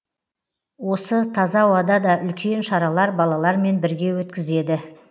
осы таза ауада да үлкен шаралар балалармен бірге өткізеді